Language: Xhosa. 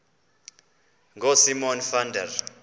ngosimon van der